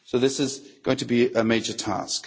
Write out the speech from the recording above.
So this is going to be a major task.